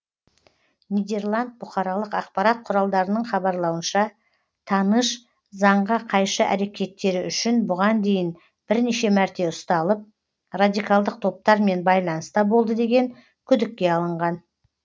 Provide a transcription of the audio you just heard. нидерланд бұқаралық ақпарат құралдарының хабарлауынша таныш заңға қайшы әрекеттері үшін бұған дейін бірнеше мәрте ұсталып радикалдық топтармен байланыста болды деген күдікке алынған